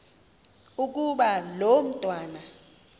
ukuba lo mntwana